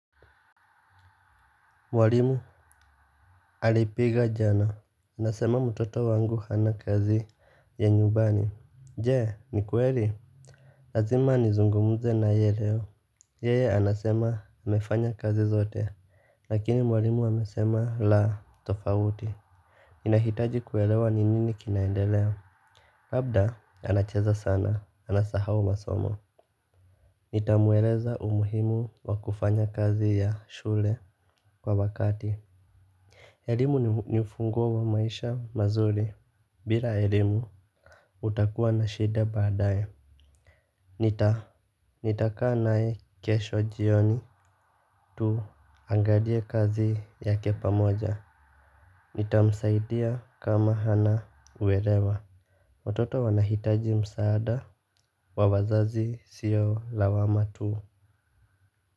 Mwalimu alipiga jana. Anasema mtoto wangu hana kazi ya nyumbani. Jee, ni kweli? Lazima nizungumze naye leo. Yeye anasema amefanya kazi zote. Lakini mwalimu amesema la, tofauti. Ninahitaji kuelewa ni nini kinaendelea. Labda, anacheza sana. Anasahau masomo. Nitamueleza umuhimu wa kufanya kazi ya shule kwa wakati. Elimu ni ufunguo wa maisha mazuri. Bila elimu, utakuwa na shida baadae. Nita, nitakaa naye kesho jioni tuangalie kazi yake pamoja. Nitamsaidia kama hana uelewa. Watoto wanahitaji msaada wa wazazi sio lawama tu.